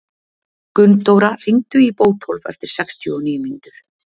Gunndóra, hringdu í Bótólf eftir sextíu og níu mínútur.